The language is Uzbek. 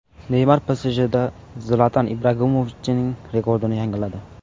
Neymar PSJda Zlatan Ibragimovichning rekordini yangiladi.